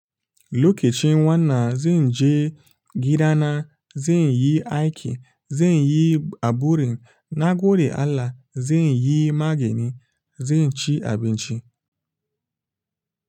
Lokacin wannan zen je gidana zen yi aiki zen yi aburin nagode Allah zen yi magani zen ci abinci.